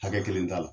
Hakɛ kelen t'a la